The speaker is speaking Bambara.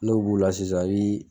N'o b'u la sisan i bi